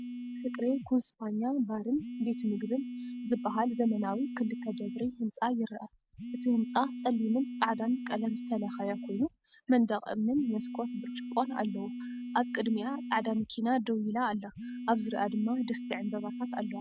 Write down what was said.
"ፍቅሬ ኩንስፖኛ ባርን ቤት ምግብን" ዝበሃል ዘመናዊ ክልተ ደብሪ ህንጻ ይርአ። እቲ ህንጻ ጸሊምን ጻዕዳን ቀለም ዝተለኽየ ኮይኑ፡ መንደቕ እምንን መስኮት ብርጭቆን ኣለዎ። ኣብ ቅድሚኣ ጻዕዳ መኪና ደው ኢላ ኣላ፡ ኣብ ዙርያኣ ድማ ድስቲ ዕምባባታት ኣለዋ።